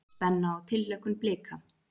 Spenna og tilhlökkun Blika